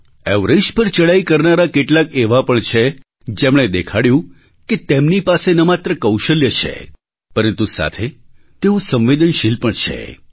Everest પર ચડાઈ કરનારા કેટલાક એવા પણ છે જેમણે દેખાડ્યું કે તેમની પાસે ન માત્ર કૌશલ્ય છે પરંતુ સાથે તેઓ સંવેદનશીલ પણ છે